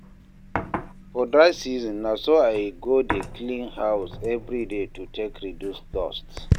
for dry season, na so I go dey clean house evri day to take reduce dust